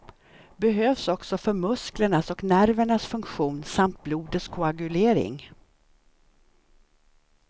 Behövs också för musklernas och nervernas funktion samt blodets koagulering.